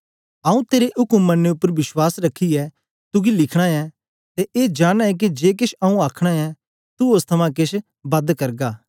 आऊँ तेरे उक्म मननें उपर विश्वास रखियै तुगी लिखना ऐ ते ए जाननां ऐं के जे केछ आऊँ आखना ऐं तू ओस थमां केछ बद करगा